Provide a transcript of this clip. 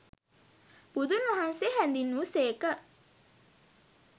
බුදුන්වහන්සේ හැඳින්වූ සේක.